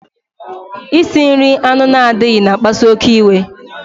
Isi nri anụ na-adịghị na akpasu oké iwe